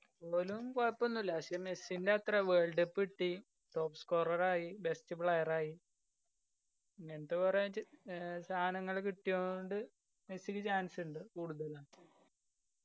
ഓലും കൊയപ്പോന്നുല്ല പക്ഷെ മെസ്സിന്റെ എത്രെ world cup കിട്ടി. top scorer ആയി. best player ആയി. ഇങ്ങനത്തെ കൊറേ ഏർ സാനങ്ങള് കിട്ട്യോണ്ട് മെസ്സിക്ക് chance ഇണ്ട് കൂടുതലും.